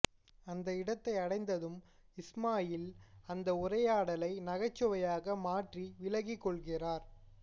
அந்த இடத்தை அடைந்ததும் இஸ்மாயீல் அந்த உரையாடலை நகைச்சுவையாக மாற்றி விலகிக் கொள்கிறார்